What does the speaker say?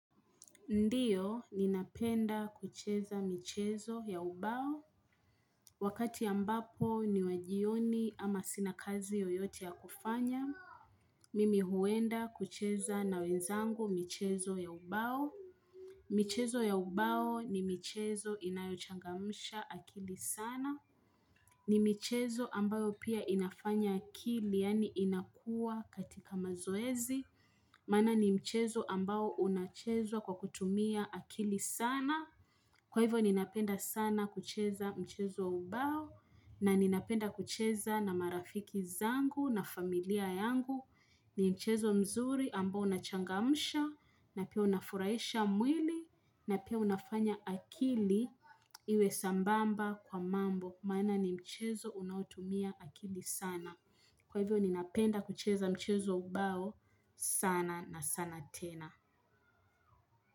Ndio, ninapenda kucheza michezo ya ubao. Wakati abapo ni wajioni ama sina kazi yoyote ya kufanya. Mimi huenda kucheza na wenzangu michezo ya ubao. Michezo ya ubao ni michezo inayochangamsha akili sana. Ni michezo ambayo pia inafanya akili yani inakua katika mazoezi. Maana ni michezo ambayo unachezwa kwa kutumia akili sana. Kwa hivyo ninapenda sana kucheza mchezo wa ubao na ninapenda kucheza na marafiki zangu na familia yangu ni mchezo mzuri ambao unachangamsha na pia unafuraisha mwili na pia unafanya akili iwe sambamba kwa mambo. Maana ni mchezo unaotumia akili sana. Kwa hivyo ninapenda kucheza mchezo wa ubao sana na sana tena.